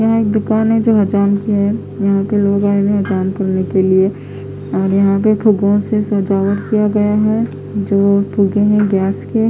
यहाँ एक दुकान है जो यहाँ पर और यहाँ है जो उस तरफ है जो--